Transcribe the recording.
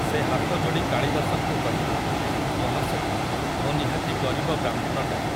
ସେ ହାତଯୋଡ଼ି କାଳିଦାସଙ୍କୁ କହିଲେ, ମହାଶୟ, ମୁଁ ନିହାତି ଗରିବ ବ୍ରାହ୍ମଣଟାଏ ।